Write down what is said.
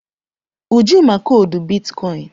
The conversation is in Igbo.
Uju ma koodu bitkọịn.